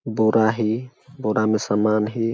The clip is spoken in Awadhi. बोरा हे बोरा में समान हे।